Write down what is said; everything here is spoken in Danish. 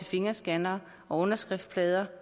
fingerscannere underskriftplader